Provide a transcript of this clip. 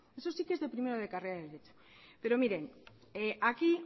pero miren aquí